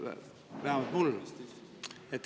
Vähemalt mul.